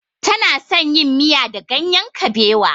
Tana son yin miya da ganyen kabewa.